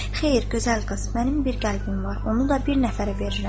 “Xeyr, gözəl qız, mənim bir qəlbim var, onu da bir nəfərə verirəm.”